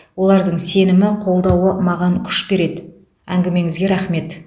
олардың сенімі қолдауы маған күш береді әңгімеңізге рахмет